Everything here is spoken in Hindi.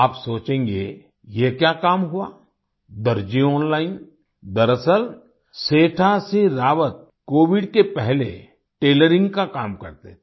आप सोचेंगे ये क्या काम हुआ दर्जी ऑनलाइन दरअसल सेठा सिंह रावत कोविड के पहले टेलरिंग का काम करते थे